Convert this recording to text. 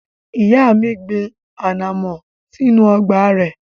Ìyá mi gbin ànàmọ́ sínú ọgbà rẹ̀.